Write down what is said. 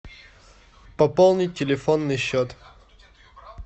пополнить телефонный счет